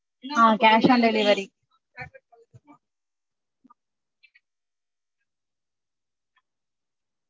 ah cash on delivery